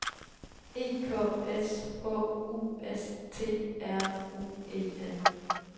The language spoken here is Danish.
E K S H U S T R U E N